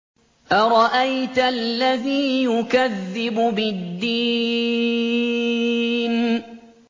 أَرَأَيْتَ الَّذِي يُكَذِّبُ بِالدِّينِ